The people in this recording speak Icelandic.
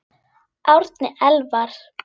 Árni Elvar.